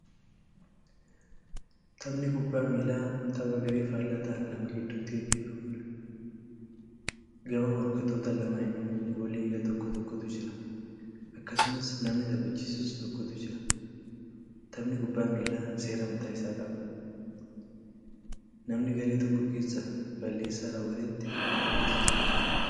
Taphni kubbaa miillaa tapha garee faallaa ta'an lama gidduutti gaggeeffamuudha. Gama morkattoota lamaaninuu goola egaa tokko tokkotu jira. Akkasumas namni taphachisus tokkotu jira. Taphni kubbaa miillaa seera mataa isaa qaba. Namna garee tokko keessaa balleessaa raawwatetti adabbiitu itti kennama.